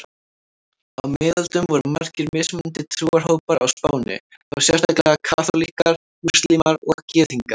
Á miðöldum voru margir mismunandi trúarhópar á Spáni, þá sérstaklega kaþólikkar, múslímar og gyðingar.